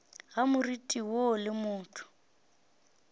ga moriti woo le motho